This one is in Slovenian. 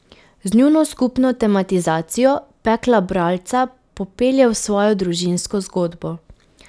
Z njuno skupno tematizacijo pekla bralca popelje v svojo družinsko zgodbo.